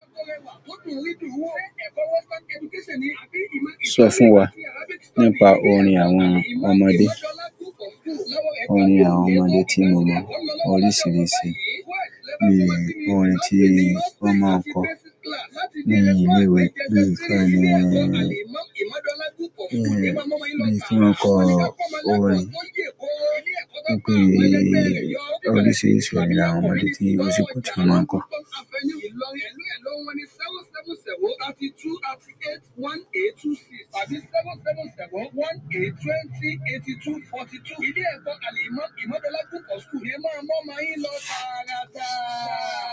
Sọ fún wa nípa orin àwọn ọmọdé. Orin àwọn ọmọdé tí mo mọ oríṣìíríṣìí ni orin tí wọ́n máa ń kọ nínú ilé-ìwé. Bíi kí wọ́n lè, kí wọ́n lè fún wọn kọ orin. Wọ́n pè é oríṣiríṣi orin àwọn ọmọdé tí mo ti kọ́ tí wọ́n máa ń kọ.